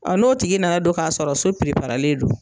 A n'o tigi nana don k'a sɔrɔ so don